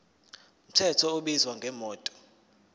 mthetho ubizwa ngomthetho